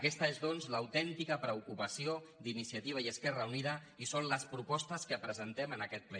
aquesta és doncs l’autèntica preocupació d’iniciativa i esquerra unida i són les propostes que presentem en aquest ple